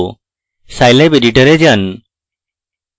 scilab editor যান